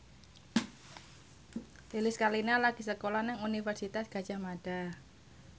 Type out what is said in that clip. Lilis Karlina lagi sekolah nang Universitas Gadjah Mada